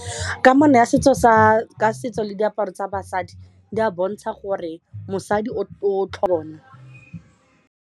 Kamano ka setso le diaparo tsa basadi di a bontsha gore mosadi .